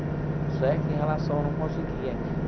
Só é que em relação eu não conseguia.